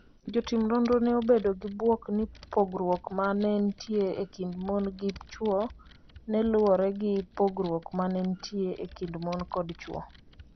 Jotim nonrogo ne obedo gi bwok ni pogruok ma ne nitie e kind mon gi chwo ne luwore gi pogruok ma ne nitie e kind mon kod chwo.